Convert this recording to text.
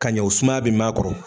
Ka ɲɛ o sumaya be mɛn a kɔrɔ.